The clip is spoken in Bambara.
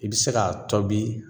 I bɛ se k'a tobi